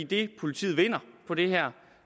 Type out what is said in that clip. det politiet vinder på det her